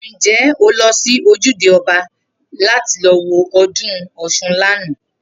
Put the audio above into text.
Ǹjé̩ o lo̩ sí ojúde o̩ba láti lo̩ wo o̩dún Ò̩s̩un lánàá?